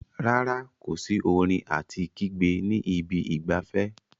Rárá, kò sí orin àti kígbe ní ibi ìgbafẹ́.